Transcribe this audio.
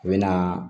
U bɛ na